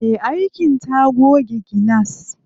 Me aikin ta goge gilas.